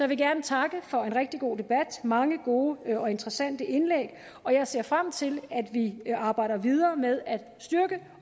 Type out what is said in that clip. vil gerne takke for en rigtig god debat mange gode og interessante indlæg og jeg ser frem til at vi arbejder videre med at styrke